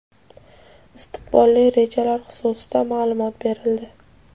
istiqbolli rejalar xususida maʼlumot berildi.